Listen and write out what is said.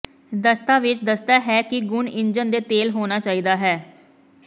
ਦਸਤਾਵੇਜ਼ ਦੱਸਦਾ ਹੈ ਕਿ ਗੁਣ ਇੰਜਣ ਦੇ ਤੇਲ ਹੋਣਾ ਚਾਹੀਦਾ ਹੈ